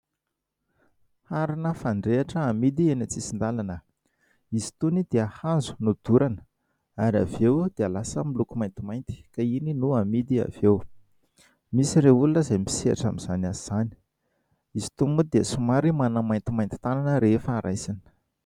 Harina fandrehitra amidy eny an-tsisin-dalana. Izy itony dia hazo no dorana ary avy eo dia lasa miloko maintimainty ka iny no hamidy avy eo. Misy ireo olona izay misehatra amin'izany asa izany. Izy itony moa dia somary manamaintimainty tanana rehefa raisina.